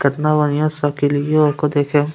केतना बढ़िया साइकिलयो ओकर देखे --